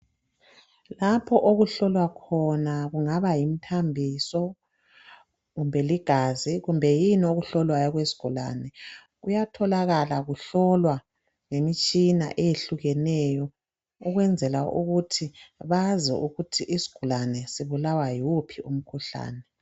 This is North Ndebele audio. Lapho okuhlolwa khona kungaba yimthambiso kumbe ligazi kumbe yini okuhlolwayo okwesigulane kuyatholakala kuhlolwa ngemitshina eyehlukeneyo ukwenzela ukuthi bazi ukuthi isigulane sibulawa yiwuphi umkhuhlane.